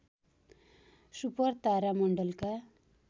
super तारा मण्डलका